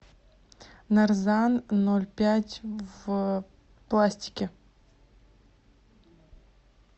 нарзан ноль пять в пластике